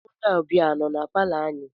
Onye ọbịa a nọ na palọ anyị?